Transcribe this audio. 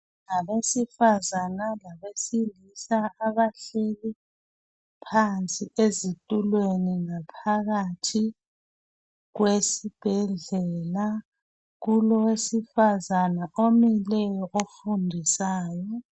Abesifazana labesilisa abahleli phansi ezitulweni ngaphakathi kwesibhedlela kulo wesifazana omileyo ofundisayo